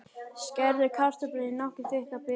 Skerðu kartöflurnar í nokkuð þykka báta.